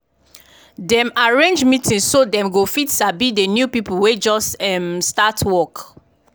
dem arrange meeting so dem go fit sabi d new people wey just um start work